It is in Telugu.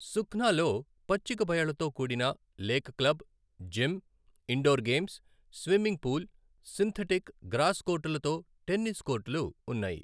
సుఖ్నాలో పచ్చిక బయళ్ళతో కూడిన lake club, gym, indoor games, swimming pool, synthetic, grass కోర్టులతో టెన్నిస్ కోర్టులు ఉన్నాయి.